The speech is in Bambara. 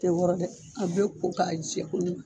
tɛ wɔrɔ dɛ a bɛ ko k'a jɛ koɲuma.